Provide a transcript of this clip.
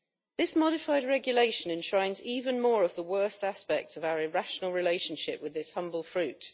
This modified regulation enshrines even more of the worst aspects of our irrational relationship with this humble fruit.